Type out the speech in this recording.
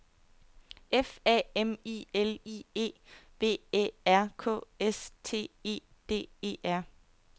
F A M I L I E V Æ R K S T E D E R